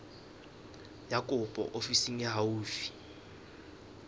ya kopo ofising e haufi